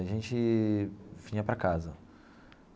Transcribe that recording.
A gente vinha para casa.